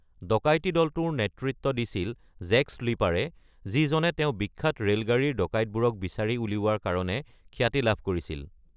ডকাইতি দলটোৰ নেতৃত্ব দিছিল জেক স্লিপাৰে, যিজনে তেওঁ বিখ্যাত ৰেলগাড়ীৰ ডকাইতবোৰক বিচাৰি উলিওৱা কাৰণে খ্যাতি লাভ কৰিছিল।